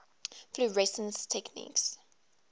fluorescence techniques